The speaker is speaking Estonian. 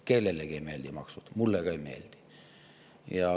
Kellelegi ei meeldi maksud, mulle ka ei meeldi.